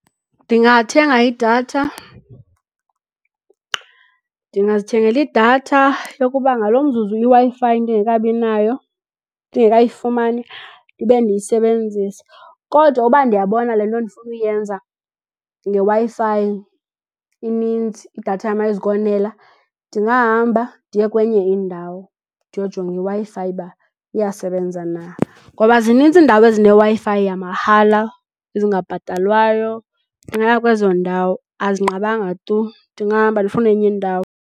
Ndingathenga idatha, ndingazithengela idatha yokuba ngalo mzuzu iWi-Fi ndingekabi nayo ndingekayifumani ndibe ndiyisebenzisa. Kodwa uba ndiyabona le nto ndifuna uyenza ngeWi-Fi ininzi, idatha yam ayizukonela ndingahamba ndiye kwenye indawo ndiyojonga iWi-Fi uba iyasebenza na. Ngoba zinintsi iindawo ezineWi-Fi yamahala ezingabhatalwayo, ndingaya kwezo ndawo. Azinqabanga tu ndingahamba ndifune enye indawo.